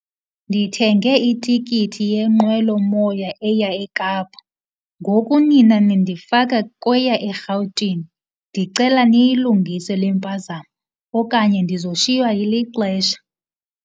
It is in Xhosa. Ndithenge itikiti yenqwelomoya eya eKapa, ngoku nina nindifaka kweya eRhawutini. Ndicela niyilungise le mpazamo okanye ndizoshiywa lixesha.